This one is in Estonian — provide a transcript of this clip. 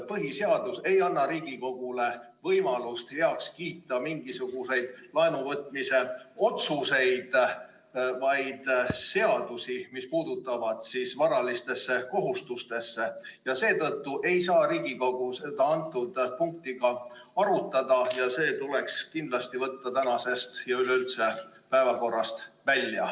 Põhiseadus ei anna Riigikogule võimalust heaks kiita mingisuguseid laenuvõtmise otsuseid, vaid seadusi, mis puutuvad varalistesse kohustustesse, ja seetõttu ei saa Riigikogu seda punkti ka arutada ja see tuleks kindlasti võtta tänasest ja üleüldse päevakorrast välja.